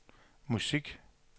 musik